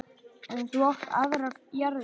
En þú átt aðrar jarðir.